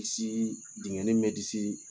Disi dingɛnin min bɛ disi